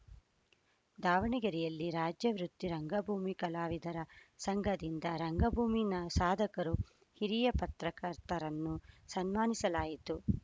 ದಾವಣಗೆರೆಯಲ್ಲಿ ರಾಜ್ಯ ವೃತ್ತಿ ರಂಗಭೂಮಿ ಕಲಾವಿದರ ಸಂಘದಿಂದ ರಂಗಭೂಮಿ ನ ಸಾಧಕರು ಹಿರಿಯ ಪತ್ರಕರ್ತರನ್ನು ಸನ್ಮಾನಿಸಲಾಯಿತು